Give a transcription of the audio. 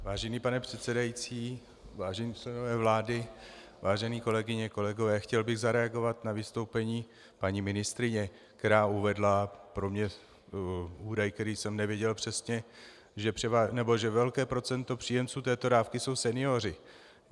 Vážený pane předsedající, vážení členové vlády, vážené kolegyně, kolegové, chtěl bych zareagovat na vystoupení paní ministryně, která uvedla pro mě údaj, který jsem nevěděl přesně, že velké procento příjemců této dávky jsou senioři.